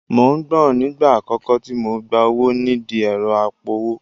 Mò ń gbọ̀n nígbà àkọ́kọ́ tí mo gba owó nídìí ẹ̀rọ apowó